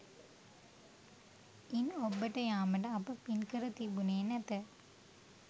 ඉන් ඔබ්බට යාමට අප පින්කර තිබුණේ නැත